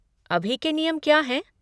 अभी के नियम क्या हैं?